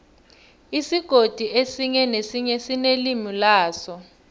isigodi esinye nesinye sinelimi laso